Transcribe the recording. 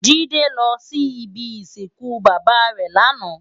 Jide lò si ibi isinkún baba rè làná